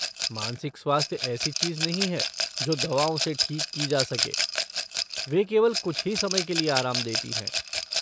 मानसिक स्वास्थ्य ऐसी चीज नहीं है जो दवाओं से ठीक की जा सके, वे केवल कुछ ही समय के लिए आराम देती हैं।